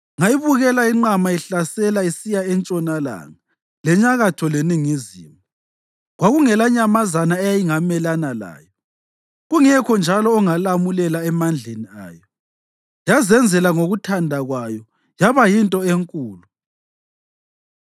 Ngayibukela inqama ihlasela isiya entshonalanga, lenyakatho leningizimu. Kwakungelanyamazana eyayingamelana layo, kungekho njalo ongalamulela emandleni ayo. Yazenzela ngokuthanda kwayo yaba yinto enkulu.